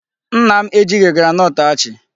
Nna m ejighị groundnut achị.